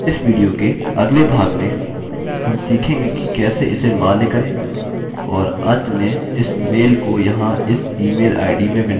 इस विडियो के अगले भाग में हम सीखेंगे कि कैसे इसे कैसे मान्य करें और अंत में इस मेलmail को यहाँ इस ईमेलआईडीemailid में विनिर्दिष्ट यूज़र को भेजेंगे